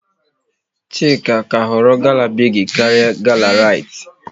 Chika ka họrọ gala Bigi karịa gala Rite